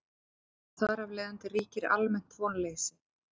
Þar af leiðandi ríkir almennt vonleysi.